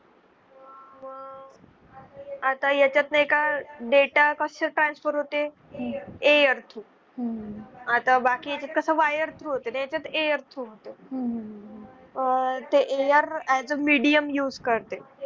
आता याच्यात नाहीका data कसा transfer होते air through आता बाकी कसं wirethrough होते तर याच्यात Air through होतो . आह ते Aie as a medium use करते